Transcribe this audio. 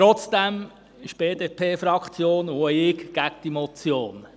Trotzdem sind die BDP-Fraktion und auch ich gegen diese Motion.